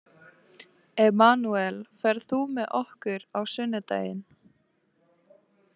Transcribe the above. Emanúel, ferð þú með okkur á sunnudaginn?